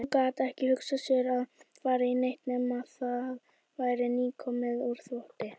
Hún gat ekki hugsað sér að fara í neitt nema það væri nýkomið úr þvotti.